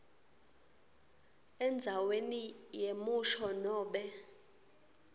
endzaweni yemusho nobe